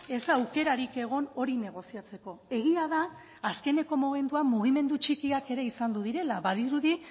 ez da aukerarik egon hori negoziatzeko egia da azkeneko momentuan mugimendu txikiak ere izandu direla badirudi